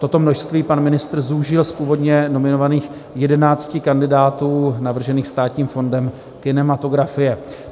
Toto množství pan ministr zúžil z původně nominovaných 11 kandidátů navržených Státním fondem kinematografie.